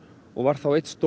og var þá einn stór